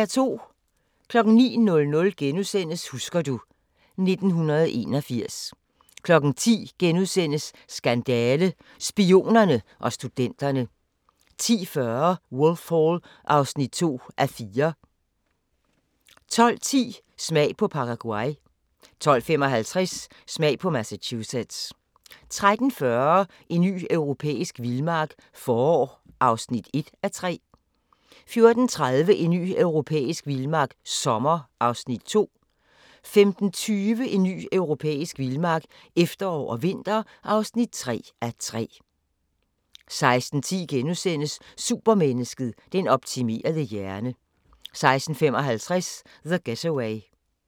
09:00: Husker du ... 1981 * 10:00: Skandale - Spionerne og studenterne * 10:40: Wolf Hall (2:4) 12:10: Smag på Paraguay 12:55: Smag på Massachusetts 13:40: En ny europæisk vildmark – forår (1:3) 14:30: En ny europæisk vildmark - sommer (2:3) 15:20: En ny europæisk vildmark – efterår og vinter (3:3) 16:10: Supermennesket: Den optimerede hjerne * 16:55: The Getaway